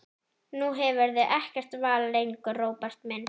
Nú hefurðu ekkert val lengur, Róbert minn.